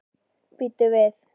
Bíddu við.